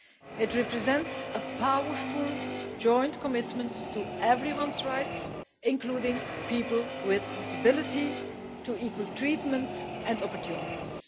It represents a powerful joint commitment to everyone's rights, including people with disability, to equal treatment and opportunities.